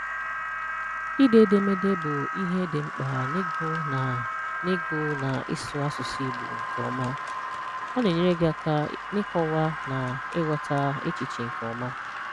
Ide edemede bụ ihe dị mkpa n’ịgụ na n’ịgụ na ịsụ asụsụ Igbo nke ọma. Ọ na-enyere gị aka n’ịkọwa na ịghọta echiche nke ọma.